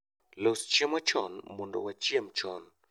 Los chiemo chon mondo wachiem chon